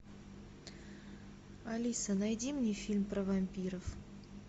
алиса найди мне фильм про вампиров